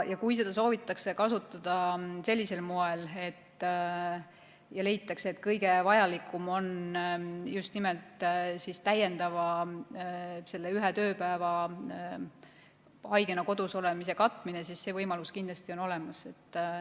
Kui seda soovitakse kasutada sellisel moel ja leitakse, et kõige vajalikum on just nimelt täiendavalt selle ühe tööpäeva haigena kodus olemise katmine, siis see võimalus kindlasti on olemas.